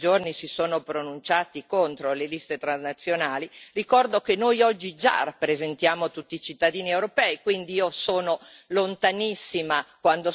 Al collega Schöplin e ai tanti che in questi giorni si sono pronunciati contro le liste transnazionali ricordo che noi oggi già rappresentiamo tutti i cittadini europei.